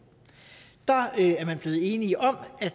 der er man blevet enige om at